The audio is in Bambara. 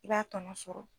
I b'a tɔnɔ sɔrɔ